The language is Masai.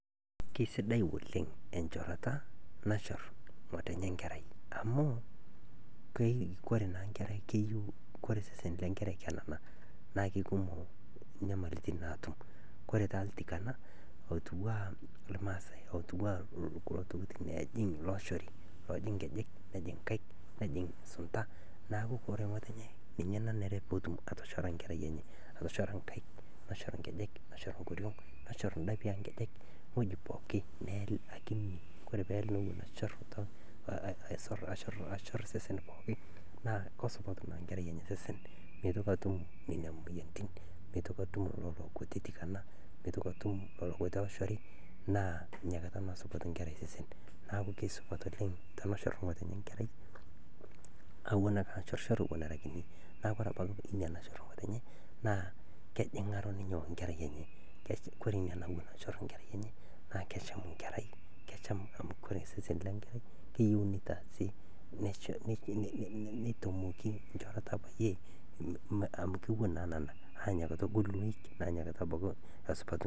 Kesidai oleng enchorota nachor ngotenye nkerai amu kore naa nkerai keyeu, kore sesen le nkerai kenana naa kekumok nyamaliritin naatum. Kore taa iltikana otiuaa ilmaasae otiuwaa ilo tokitin oojing looshori ,oojing nkejek nejing nkaik, nejing' sunta, naaku kore ngotonye nenare pootum atoshora nkerai enye ,atoshora nkaik, atoshora nkejek, neshor nkoriong ,neshor ndapi oonkejek, weji pooki, neel akinyi, kore peel newen achor, achor, achor sesen pooki, naa kesupat naa nkerai osesen, meitoki atum nenai moyaritin, meitoki atum lelo kutiti iltikana, meitoki atum lelo kutiti ooshori, naa inakata naa esupatu nkerai osesen, naaku kesupat oleng teneshor ngotenye nkerai awen ale ashorchor ewen era kinyi, naaku kore abaki echor ngotenye naa kejingaro ninye o kerai enye . Kore ina nachor nkera enye naa kesham nkerai amu kore sesen le nkerai keyeu ninye neitaasi neitomoki nchorota ake iyie amu keewen naa enana, naa inyakata egolu loik nesupatu.